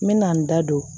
N mɛna n da don